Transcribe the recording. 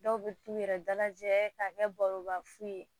Dɔw bɛ t'u yɛrɛ dalajɛ k'a kɛ baroba fu ye